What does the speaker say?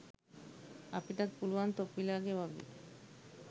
අපිටත් පුළුවන් තොපිලගේ වගේ